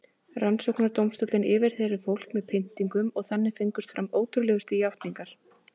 Rannsóknardómstóllinn yfirheyrði fólk með pyntingum og þannig fengust fram ótrúlegustu játningar.